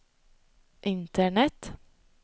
internet